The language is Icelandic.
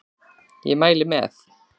Ég mæli með!